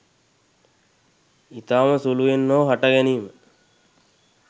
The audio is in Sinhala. ඉතාම සුළුවෙන් හෝ හට ගැනීම